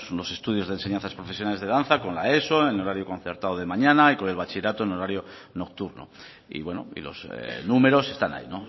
los estudios de enseñanzas profesionales de danza con la eso en horario concertado de mañana y con el bachillerato en horario nocturno y bueno los números están ahí